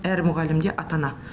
әр мұғалім де ата ана